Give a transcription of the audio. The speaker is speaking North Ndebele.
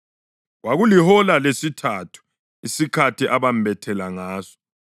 Kwakulihola lesithathu isikhathi abambethela ngaso.